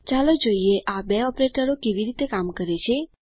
ચાલો જોઈએ આ બે ઓપરેટરો કેવી રીતે કામ કરે છે